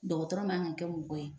Dɔgɔtɔrɔ man kan ka kɛ mɔgɔ ye